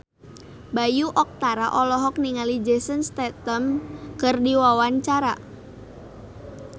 Bayu Octara olohok ningali Jason Statham keur diwawancara